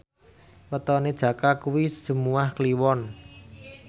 wetone Jaka kuwi Jumuwah Kliwon